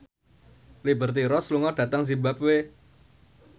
Liberty Ross lunga dhateng zimbabwe